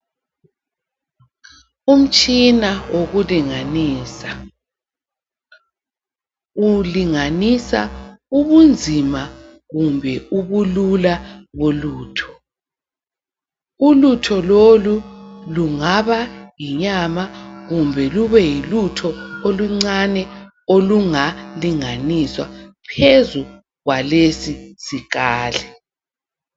Umtshina wokulinganisa. Ulinganisa ubunzima kumbe ubulula bolutho. Ulutho lolu lungaba yinyama kumbe lube yilutho oluncane olungalinganiswa phezu kwalesi sikali.